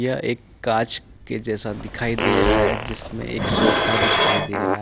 यह एक कांच के जैसा दिखाई दे रहा है जिसमे एक सोफा दिखाई दे रहा है ।